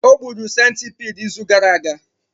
O gburu centipede izu gara aga